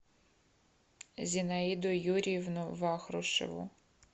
зинаиду юрьевну вахрушеву